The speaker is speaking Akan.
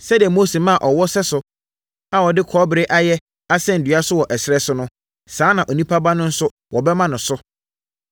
Sɛdeɛ Mose maa ɔwɔ sɛso a wɔde kɔbere ayɛ asɛn dua so wɔ ɛserɛ so no, saa ara na Onipa Ba no nso wɔbɛma no so,